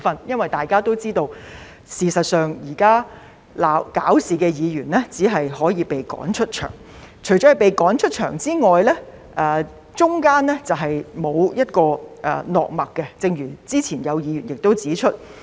因為大家也知道，事實上，現時鬧事的議員只可以被趕出場，除了被趕出場外，中間是沒有一個落墨點的，正如之前亦有議員指出。